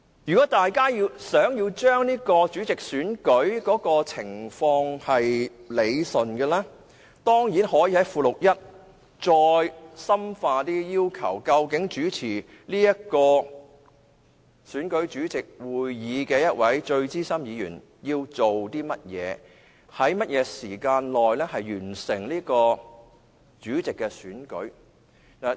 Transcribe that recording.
如果大家想將選舉主席的安排理順，當然可以深化載於附表1的要求，訂明主持選舉的一位最資深的議員要做些甚麼及在甚麼時間內完成主席的選舉。